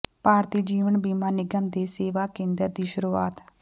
ਭਾਰਤੀ ਜੀਵਨ ਬੀਮਾ ਨਿਗਮ ਦੇ ਸੇਵਾ ਕੇਂਦਰ ਦੀ ਸ਼ੁਰੂਆਤ